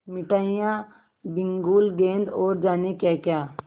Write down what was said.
मिठाइयाँ बिगुल गेंद और जाने क्याक्या